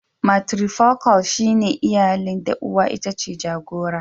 "Matrifocal" shine iyalin da uwa itace jagora".